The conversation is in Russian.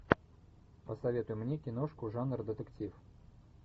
посоветуй мне киношку жанр детектив